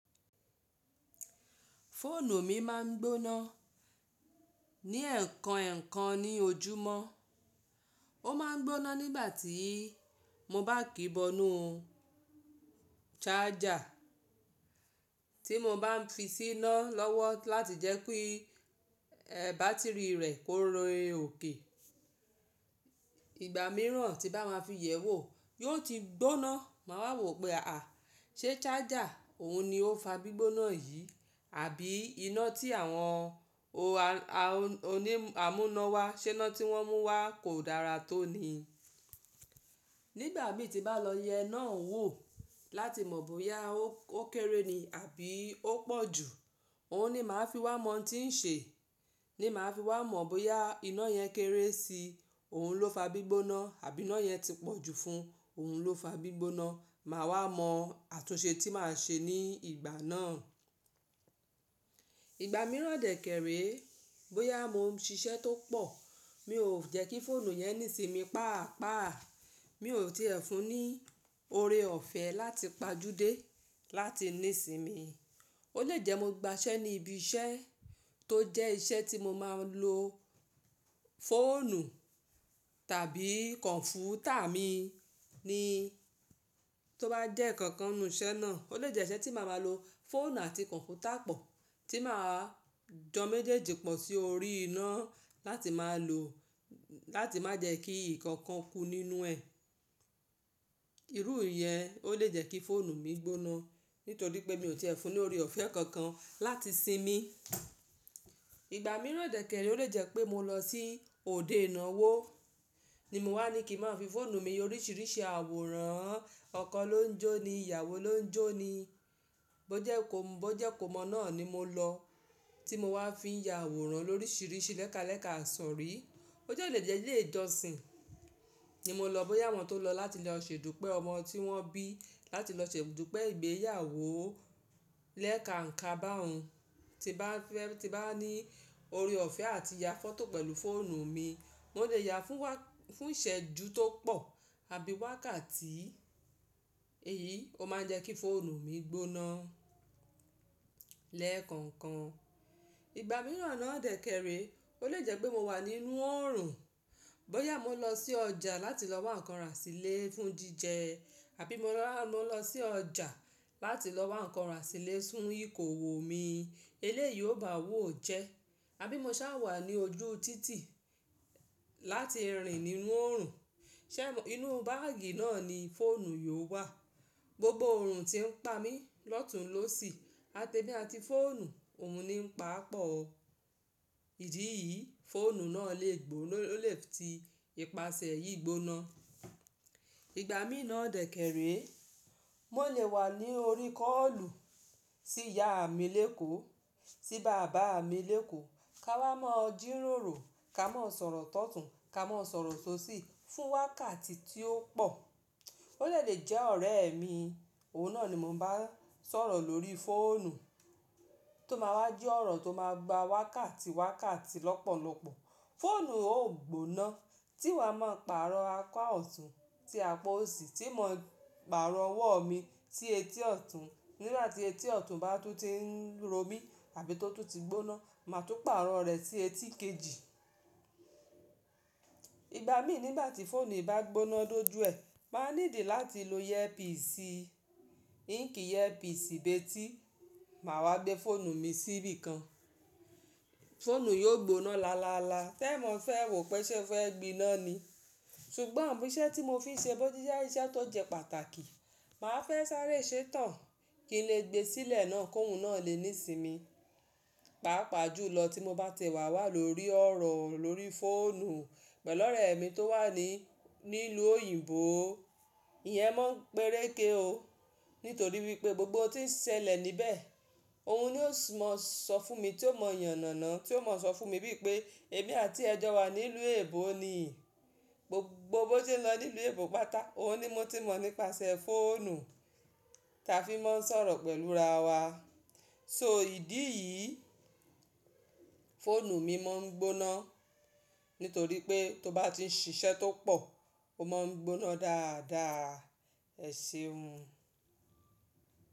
Fóònù mi máa ń gbóná ní ẹ̀ẹ̀kan, ẹ̀ẹ̀kan ní ojúmọ́. Ó máa ń gbóná nígbà tí mo bá kìí bọnu charger tí mo bá fi síná lọ́wọ́ láti jẹ́ pé bátìrì rẹ̀ kó re òkè. Ìgbà mìíràn tí bá máa fi yẹ̀ ẹ́ wò yóò ti gbóná. Máa wa wò pé àà, ṣe charger òun ni ó fa gbígbóná yìí, àbí iná tí àwọn onímọ̀ amúnáwá ṣe iná tí wọ́n mú wá kò dára tó ni. Nígbà mi tí bá lọ yẹ iná oun wò láti mọ̀ bóyá ó kéré ni àbí ó pọ̀ jù, òun ni màá fi wá mọ̀ tí ń ṣe, ni màá fi wá mọ̀ bóyà iná yẹn kéré si, òun ló fa gbígbóná, àbí iná yẹn ti pọ̀ jù fún oun ló fa gbígbóná. Màá wá mọ àtúnṣe tí màá ṣe ní ìgbà náà. Ìgbà mìíràn dẹ̀ kèrè, bóyá mo ń ṣiṣẹ́ tó pọ̀, mi ò jẹ́kí fóònù yẹn nísì mi paapaa. Mi ò tiẹ̀ fún un ní ore ọ̀fẹ́ láti pàjúdé láti ní sí mi. Ó lè jẹ́ mo gba iṣẹ́ ní ibi iṣẹ́ tó jẹ́ iṣẹ́ tí mo máa ń lo fóònù tàbí kọ̀ǹpútà mi ni tó bá jẹ́ nkankan inú iṣẹ́ náà. Ó lè jẹ́ iṣẹ́ tí màá máa lo fóònù àti kọ̀ǹpútà pọ̀, tí màá jọ méjèèjì pọ̀ sí orí iná láti máa lò láti má jẹ́ kí nkankan kú nínú ẹ̀. Irú ìyẹn ó lè jẹ́ kí fóònù mi gbóná nítorí pé mi ò tiẹ̀ fún un ní orí ọ̀fẹ́ kankan láti sinmi. Ìgbà mìíràn dẹ̀ kèrè ó lè jẹ́ pé mo lọ sí òde ìnáwó ni mo wá ní kí máa fi fóònù mi oríṣìíríṣìí àwòrán ọkọ ló ń jó ni, ìyàwó ló ń jó ni. Bóje bóje ikò mọ̀ náà ni mo lọ tí mo wá fi ya àwòrán lóríṣìíríṣìí lẹ́kalẹ̀ka àṣọ rí. Ó lè jẹ́ ilé ìjọsìn ni mo lọ, bóyá àwọn tó lọ láti lọ ṣe ìdúpẹ́ ọmọ tí wọ́n bí, láti lọ ṣe ìdúpẹ́ ìgbéyàwó lẹ́ka ǹkan bá hun tí bá ní ore ọ̀fẹ́ àti ya fọ́tò pẹ̀lú fóònù mi. Mo lè ya fún wá, fún ìṣẹ́ju tó pọ̀ àbí wákàtí. Èyí ó máa ń jẹ́ kí fóònù mi gbóná lẹ́ẹ̀kankan. Ìgbà mìíràn náà dẹ̀ kèrè ó lè jẹ́ pé mo wà nínú oòrùn, bóyá mo lọ sí ọjà láti lọ wá ǹkan rà sílé fún jíjẹ, àbí mo lọ lọ sí ọjà láti lọ wá ǹkan rà sílé fún ìkówò mi. Eléyìí ò bá wò jẹ́. Àbí mo sá wà ní ojú títì láti rìn nínú oòrùn. Ṣé inú báàgì náà ni fóònù yóò wà? Gbogbo orun tí ń pa mí lọ́tun ló sì, àti ẹmi àti fóònù òun ni ń pa pọ̀. Ìdí yìí, fóònù náà lè gbo, lè ti ìpáṣẹ yìí gbóná. Ìgbà mìí dẹ̀ kèrè, mo lè wà ní orí kọ́lù tí ìyá mi léko, tí bàbá mi léko, ká wá máa jíròrò, ká máa sọ̀rọ̀ tọ́tùn, ká máa sọ̀rọ̀ sóṣì fún wákàtí tí ó pọ̀. Ó lè de le jẹ́ ọ̀rẹ́ mi, òun náà ni mò ń bá sọ̀rọ̀ lórí fóònù tó máa wá jẹ́ ọ̀rọ̀ tó máa gba wákàtí, wákàtí lọ́pọ̀lọpọ̀. Fóònù ó gbóná tí wàá máa pàrọ̀ apá ọ̀tún tí apá òsì tí mò ń pàrọ̀ ọwọ́ mi sí etí ọ̀tún. Nígbà tí etí ọ̀tún bá tún ti ń ro mí àbí tó tún ti gbóná, màá tún pàrọ̀ rẹ̀ sí etí kejì. Ìgbà mi nígbà tí fóònù bá gbóná dójú ẹ, màá need láti lo ẹ̀yẹ píìsì, íńkì ẹ̀yẹ píìsì bé tí màá wá gbé fóònù mi síbí kan. Fóònù yóò gbóná lááláálá. Tẹ́ mọ́ fẹ́, wò pé ṣẹ́ fẹ́ gbiná ni. Ṣùgbọ́n iṣẹ́ tí mo fi ṣe bọ́, tíṣà iṣẹ́ tó jẹ́ pàtàkì, màá fẹ́ sáré ṣètàn kí n lè gbe sílẹ̀ náà kó hun náà lè ní sinmi. Paapaa ju lọ tí mo bá ti e wà wà lórí ọ̀rọ̀ lórí fóònù pẹ̀lú ọ̀rẹ́ mi tó wà ní ìlú òyìnbó. Ìyẹn máa ń pẹ́rẹ́ke ó nítorí wípé gbogbo tí ń ṣẹlẹ̀ níbẹ̀ òun ni ó mọ sọ fún mi tí ó mọ̀ yànàná, tí ó mọ̀ sọ fún mi biípé ẹbí àti ẹjọ́ wa ní ìlú òyìnbó ni. Gbogbo bó se n lọ ní ìlú òyìnbó pata, òun ni mo ti mọ̀ nípasẹ̀ fóònù táa fi máa ń sọ̀rọ̀ pẹ̀lú ra wa. So ìdí yìí, fóònù mi máa ń gbóná nítorí pé tó bá ti ń ṣiṣẹ́ tó pọ̀ ó máa ń gbóná dáadáa ẹṣẹ́un.